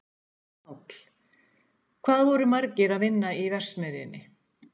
Páll: Hvað voru margir að vinna í verksmiðjunni?